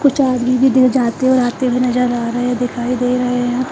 कुछ आदमी भी दे जाते और आते हुए नजर आ रहे हैं दिखाई दे रहे हैं।